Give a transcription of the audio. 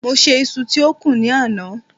mo se iṣu ti o kún ni àná